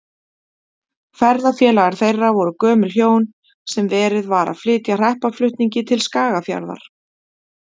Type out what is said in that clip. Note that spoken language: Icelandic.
Ferðafélagar þeirra voru gömul hjón, sem verið var að flytja hreppaflutningi til Skagafjarðar.